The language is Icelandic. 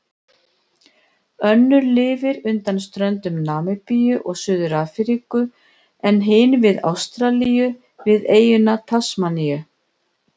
Önnur lifir undan ströndum Namibíu og Suður-Afríku en hin við Ástralíu, við eyjuna Tasmaníu.